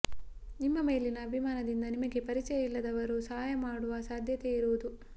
ನಿಮ್ಮ ಮೇಲಿನ ಅಭಿಮಾನದಿಂದ ನಿಮಗೆ ಪರಿಚಯ ಇಲ್ಲದವರು ಸಹಾಯ ಮಾಡುವ ಸಾಧ್ಯತೆ ಇರುವುದು